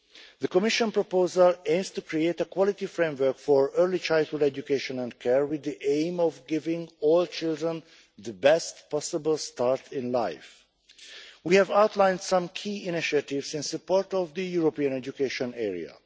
The Commission proposal aims to create a quality framework for early childhood education and care with the aim of giving all children the best possible start in life. We have outlined some key initiatives in support of the European education area.